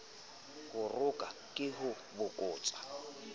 ho roka ke ho bokotsa